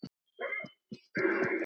Mér leið illa.